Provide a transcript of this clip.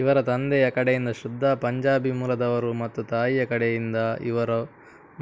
ಇವರ ತಂದೆಯ ಕಡೆಯಿಂದ ಶ್ರದ್ದಾ ಪಂಜಾಬಿ ಮೂಲದವರು ಮತ್ತು ತಾಯಿಯ ಕಡೆಯಿಂದಇವರು